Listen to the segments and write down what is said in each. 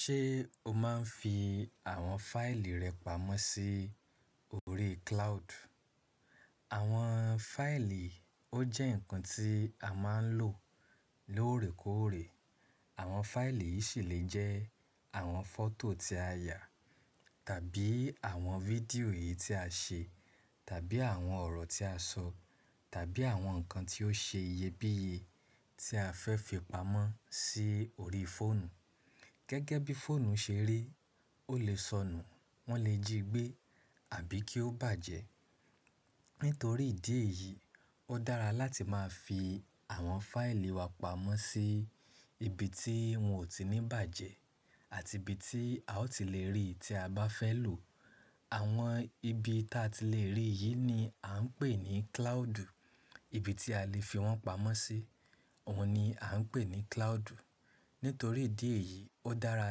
Ṣé o máa ń fi àwọn fáìlì rẹ pamọ́ sí orí cloud? Àwọn fáìlì, ó jẹ́ ǹkan tí a máa ń lò lóòrèkóòrè. Àwọn fáìlì yìí sì lè jẹ́ àwọn fọ́tò tí a yà tàbí àwọn fídíò yìí tí a ṣe, tàbí àwọn ọ̀rọ̀ tí a sọ, tàbí àwọn ǹkan tí ó ṣe iyebíye tí a fẹ́ fi pamọ́ sí orí fóònù. Gẹ́gẹ́ bí fóònù ṣe rí, ó lè sọnù, wọ́n lè jí gbé àbí kí ó bàjẹ́. Nítorí ìdí èyí, ó dára láti máa fi àwọn fáìlì wa pamọ́ sí ibi tí wọn ò tí ní bàjẹ́ àti ibi tí a ó ti lè rí tí a bá fẹ́ lò. Àwọn ibi tí a ti lè rí yìí ni a ń pè ní cloud. Ibi tí a lè fi wọ́n pamọ́ sí, òun ni a ń pè ní cloud. Nítorí ìdí èyí, ó dára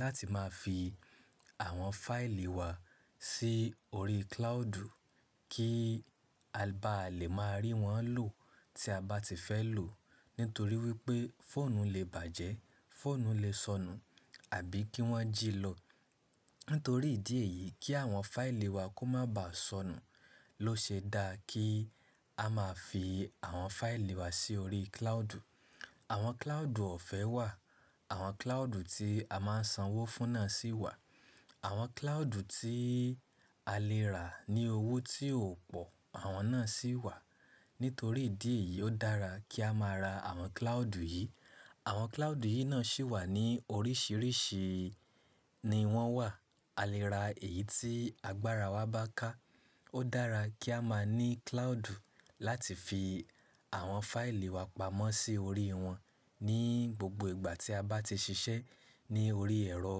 láti máa fi àwọn fáìlì wa sí orí cloud kí a bá lè máa rí wọ́n lò tí a bá ti fẹ́ lò. Nítorí wípé fóònù lè bàjẹ́, fóònù lè sọnù àbí kí wọ́n jí lọ. Nítorí ìdí èyí, kí àwọn fáìlì wa kó má ba sọnù ló ṣe dá kí a máa fi àwọn fáìlì wa sí orí cloud. Àwọn cloud ọ̀fẹ́ wà, àwọn cloud tí a máa ń sanwó fún náà sì wà, àwọn cloud tí a lè rà ní owó tí ò pò, àwọn náà sì wà. Nítorí ìdí èyí, ó dára kí a máa ra àwọn cloud yìí. Àwọn cloud yìí náà sì wà ní oríṣìíríṣìí ni wọ́n wà. A lè ra èyí tí agbára wa bá ká. Ó dára kí a máa ní cloud láti fi àwọn fáìlì wa pamọ́ sí orí wọn ní gbogbo ìgbà tí a bá ti ṣiṣẹ́ ní orí ẹ̀rọ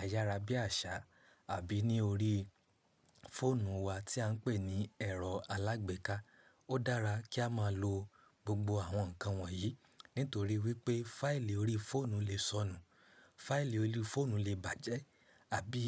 ayára bí àṣá àbí ní orí fóònù wa tí à ń pè ní ẹ̀rọ alágbèéká. Ó dára kí a máa lo gbogbo àwọn ǹkan wọ̀nyí, nítorí wípé fáìlì orí fóònù lè sọnù, fáìlì orí fóònù lè bàjẹ́ àbí.